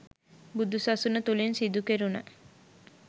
බුදුසසුන තුළින් සිදුකෙරුණ